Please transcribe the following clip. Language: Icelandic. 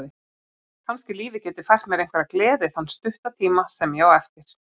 Kannski lífið geti fært mér einhverja gleði þann stutta tíma sem ég á eftir.